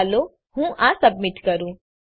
ચાલો હું આ સબમિટ કરું